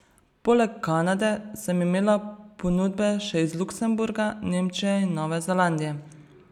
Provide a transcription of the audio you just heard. Poleg Kanade sem imela ponudbe še iz Luksemburga, Nemčije in Nove Zelandije.